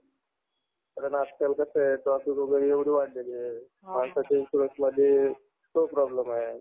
हम्म शैक्षणिक